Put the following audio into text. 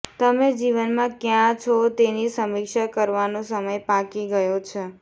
તમે જીવનમાં ક્યાં છો તેની સમીક્ષા કરવાનો સમય પાકી ગયો છે